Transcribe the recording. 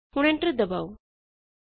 ਹੁਣ ਐਂਟਰ ਦਬਾਓ